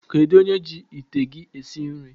Kedụ onye ji ite gị esi nri?